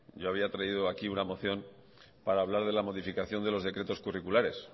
yo había traído aquí una moción para hablar de la modificación de los decretos curriculares